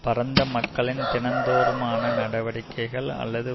பரந்த மக்களின் தினந்தோறுமான நடவடிக்கைகள் அல்லது